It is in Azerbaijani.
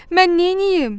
Mən neyniyim?